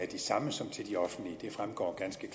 de samme som til de offentlige det fremgår ganske